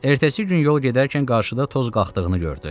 Ertəsi gün yol gedərkən qarşıda toz qalxdığını gördü.